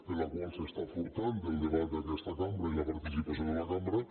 amb la qual es furta el debat d’aquesta cambra i la participació de la cambra